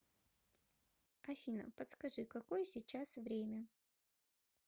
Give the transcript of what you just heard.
афина подскажи какое сейчас время